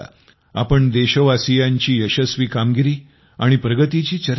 आपण देशवासीयांची यशस्वी कामगिरी आणि प्रगतीची चर्चा केली